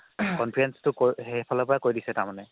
conference টো সেইফালৰ পৰাই কৈ দিছে তাৰমানে